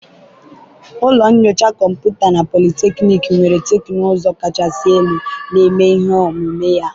ụlọ nyocha kọmputa na polytechnic nwere teknụzụ kachasị elu, na-eme ihe omume a